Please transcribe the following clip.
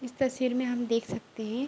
इस तस्वीर में हम देक सकते हैं।